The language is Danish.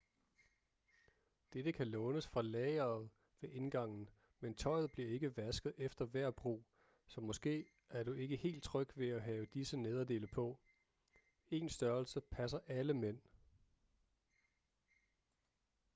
dette kan lånes fra lageret ved indgangen men tøjet bliver ikke vasket efter hver brug så måske er du ikke helt tryg ved at have disse nederdele på én størrelse passer alle mænd